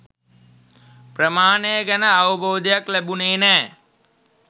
ප්‍රමාණය ගැන අවබෝධයක් ලැබුණේ නෑ